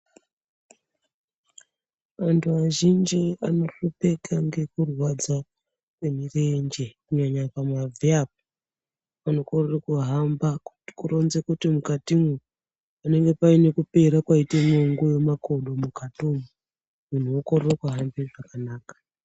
Vanthu vazhinji vanohlupeka ngekurwadza kwemirenje kunyanya pamabvi apa vano korere kuhamba kuronze kuti mukatimwo panenge paite kupera waite mwongo yemakodo mukatimu munthu wokorere kuhambe zvakanaka.